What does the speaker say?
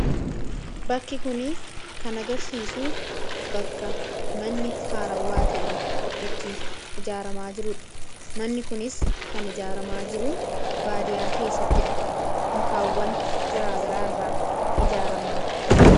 Bakki kuni kan agarsiisu bakka manni haarawwaa ta'e itti ijaaramaa jiruudha . manni kunis kan ijaaramaa jiru baadiyaa keessattidha. mukaawwan garaagaraa irraa ijaaramaa jiru.